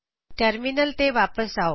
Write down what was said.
terminal ਤੇ ਵਾਪਿਸ ਆਓ